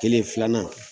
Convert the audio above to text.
Kelen filanan